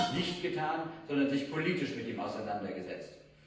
Sie hat das nicht getan, sondern sich politisch mit ihm auseinandergesetzt.